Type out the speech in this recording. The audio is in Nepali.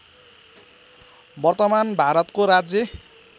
वर्तमान भारतको राज्य